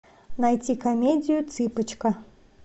найти комедию цыпочка